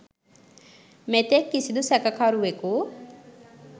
මෙතෙක් කිසිඳු සැකකරුවෙකු